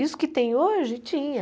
Isso que tem hoje, tinha.